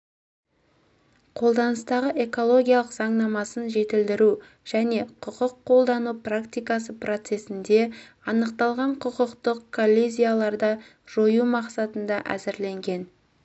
қолданыстағы экологиялық заңнамасын жетілдіру және құқық қолдану практикасы процесінде анықталған құқықтық коллизияларды жою мақсатында әзірленген